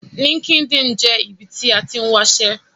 LinkedIn jẹ́ ibi tí a tín wáṣẹ́